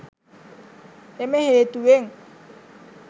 එම හේතුවෙන්